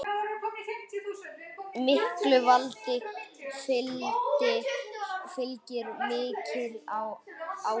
Miklu valdi fylgir mikil ábyrgð.